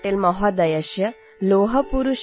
सर्वेभ्यः बहव्यः शुभकामनाः सन्ति